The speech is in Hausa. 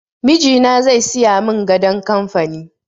Mijina zai siya mun gadon kamfani